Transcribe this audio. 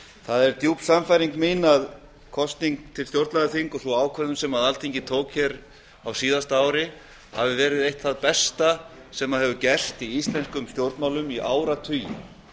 það er djúp sannfæring mín að kosning til stjórnlagaþings og sú ákvörðun sem alþingi tók hér á síðasta ári hafi verið eitt það besta sem hefur gerst í íslenskum stjórnmálum í áratugi